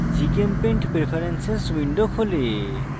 gchempaint preferences window খোলে